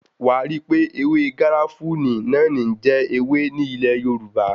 Wàá ríi wípé ewé garafuni náà ní ń jẹ́ ewé ní ilẹ̀ Yorùbá.